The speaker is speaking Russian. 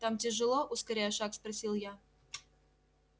там тяжело ускоряя шаг спросил я